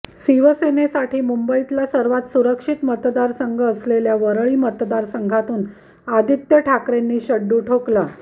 शिवसेनेसाठी मुंबईतला सर्वात सुरक्षित मतदारसंघ असलेल्या वरळी मतदारसंघातून आदित्य ठाकरेंनी शड्डू ठोकला